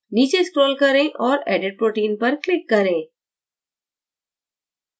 नीचे scroll करें और edit protein पर click करें